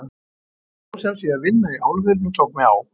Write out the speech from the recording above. Ég fór sem sé að vinna í álverinu og tók mig á.